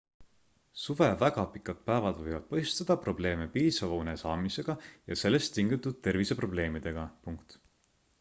suve väga pikad päevad võivad põhjustada probleeme piisava une saamisega ja sellest tingitud terviseprobleemidega